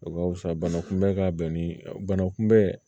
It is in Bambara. O ka fisa bana kunbɛ ka bɛn ni bana kunbɛ